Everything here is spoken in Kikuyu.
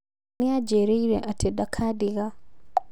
Nĩajĩrĩire atĩ ndakadiga